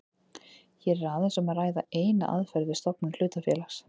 Hér er aðeins um að ræða eina aðferð við stofnun hlutafélags.